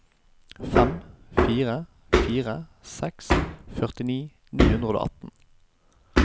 fem fire fire seks førtini ni hundre og atten